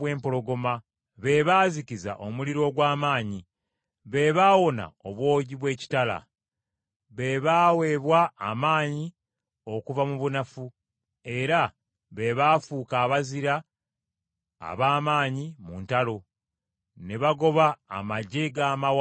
be baazikiza omuliro ogw’amaanyi, be baawona obwogi bw’ekitala. Be baaweebwa amaanyi okuva mu bunafu, era be baafuuka abazira ab’amaanyi mu ntalo, ne bagoba amaggye g’amawanga.